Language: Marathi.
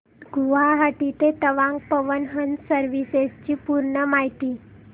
गुवाहाटी ते तवांग पवन हंस सर्विसेस ची पूर्ण माहिती